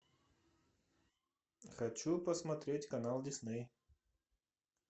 хочу посмотреть канал дисней